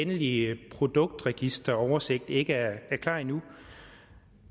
endelige produktregisteroversigt ikke er klar nu